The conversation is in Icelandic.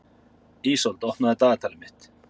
Ísold, opnaðu dagatalið mitt.